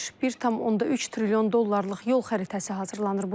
1.3 trilyon dollarlıq yol xəritəsi hazırlanır.